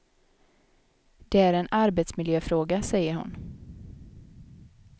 Det är en arbetsmiljöfråga, säger hon.